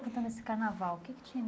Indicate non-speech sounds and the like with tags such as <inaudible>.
<unintelligible> nesse carnaval o que é que tinha